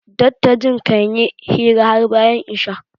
dattajin kan yi hira har bayan Isha